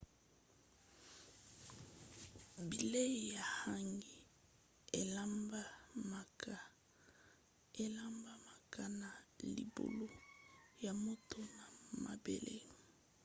bilei ya hangi elambamaka na libulu ya moto na mabele